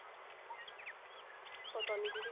ਪਤਾ ਨਹੀਂ ਦੀਦੀ